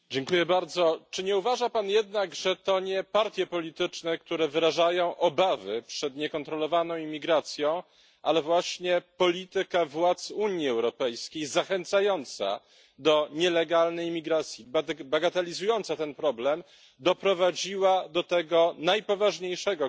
Czy nie uważa Pan jednak, że to nie partie polityczne, które wyrażają obawy przed niekontrolowaną imigracją, ale właśnie polityka władz Unii Europejskiej zachęcająca do nielegalnej imigracji, bagatelizująca ten problem doprowadziła do tego najpoważniejszego kryzysu